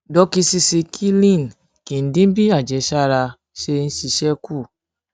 dókísísíkílìn kì í dín bí àjẹsára ìbí ṣe ń ìbí ṣe ń ṣiṣé kù